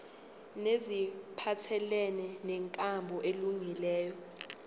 neziphathelene nenkambo elungileyo